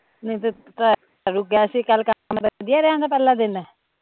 ਨਹੀਂ ਤਾਂ ਵਦੀਆ ਰਿਹਾ ਓਹਦਾ ਪਹਿਲਾਂ ਦਿਨ